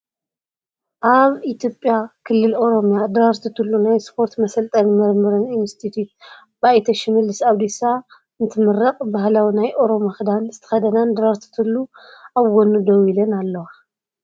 ኣብ ኢትዮጵያ ክልል ኦሮሚያ ድራርቱ ቱሉ ናይ ስፖርት መሰልጠንን ምርምርን ኢንስቲትዩት ብኣይተ ሽመልስ ኣብዲሳን እንትምረቅ ባህላዊ ናይ ኦሮሞ ክዳን ዝተከደናን ድራርቱ ቱሉ ኣብ ጎኑ ደው ኢለን ኣለዋ።